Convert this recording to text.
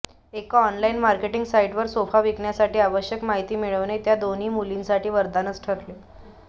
एका online marketing साइटवर sofa विकण्यासाठी आवश्यक माहिती मिळविणे त्या दोन मुलींसाठी वरदानच ठरले